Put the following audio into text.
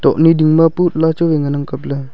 tohnyi ding ma putla chu wai ngan ang kap ley.